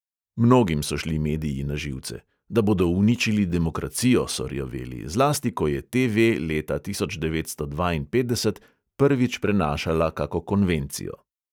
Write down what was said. Mnogim so šli mediji na živce: da bodo uničili demokracijo, so rjoveli, zlasti ko je TV leta tisoč devetsto dvainpetdeset prvič prenašala kako konvencijo.